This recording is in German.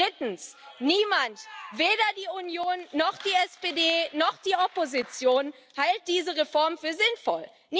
Drittens Niemand, weder die Union noch die SPD noch die Opposition, hält diese Reform für sinnvoll.